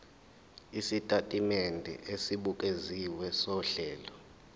isitatimende esibukeziwe sohlelo